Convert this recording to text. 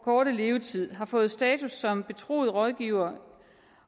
korte levetid har fået status som betroet rådgiver